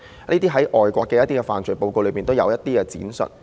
這些在外國的犯罪報告都有闡述。